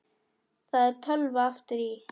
Það er tölva aftur í.